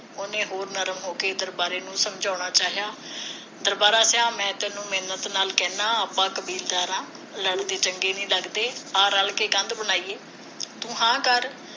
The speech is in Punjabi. ਉਹਨੇ ਹੋਰ ਨਰਮ ਹੋ ਕੇ ਦਰਬਾਰਾ ਨੂੰ ਸਮਝਾਉਣਾ ਚਾਹਿਆ ਦਰਬਾਰਾ ਜਾ ਮੈ ਤੈਨੂੰ ਮਿੰਨਤ ਨਾਲ ਕਹਿੰਦਾ ਆਪਾ ਕਬੀਲਦਾਰ ਆ ਲੜਦੇ ਚੰਗੇ ਨਹੀ ਲੱਗਦੇ ਆ ਰਲ ਕੇ ਕੰਧ ਬਣਾਈਏ ਤੂੰ ਹਾ ਕਰ